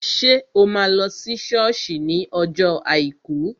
Ṣé o máa lọ sí sọ́ọ̀sì ní ọjọ́ àìkú?